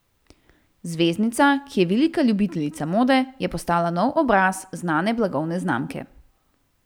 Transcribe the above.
Zvezdnica, ki je velika ljubiteljica mode, je postala novi obraz znane blagovne znamke.